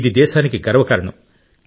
ఇది దేశానికి గర్వకారణం